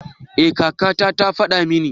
Ee kaka ta ta faɗa mini.